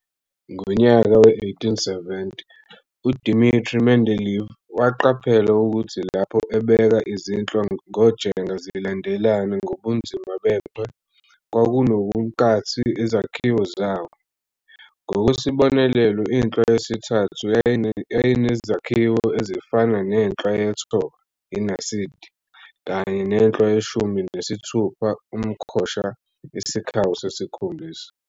Ngonyaka we-1870, uDmitri Mendeleev waqaphela ukuthi lapho ebeka izinhlwa ngojenga zilandelane ngobunzima bechwe, kwakunobunkathi ezakhini zawo. Ngokwesibonelo, inhlwa yesithathu, yayinezakhiwo ezifanayo nenhlwa yethoba, iNaside, kanye nenhlwa yeshumi nesithupha, umkhosha - isikhawu sesikhombisa.